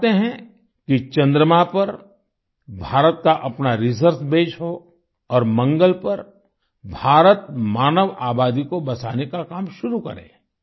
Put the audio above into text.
वो चाहते हैं कि चंद्रमा पर भारत का अपना रिसर्च बसे हो और मंगल पर भारत मानव आबादी को बसाने का काम शुरू करे